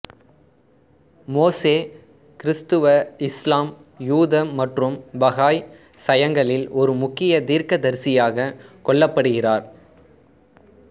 மோசே கிறிஸ்தவஇஸ்லாம்யூதமற்றும் பஹாய் சயங்களில் ஒரு முக்கிய தீர்க்கதரிசியாகக் கொள்ளப்படுகிறார்